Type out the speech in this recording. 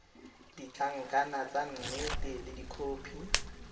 ditlankana tsa nnete le dikhopi